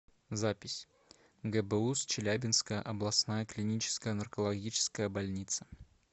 запись гбуз челябинская областная клиническая наркологическая больница